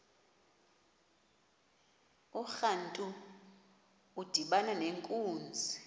urantu udibana nenkunzi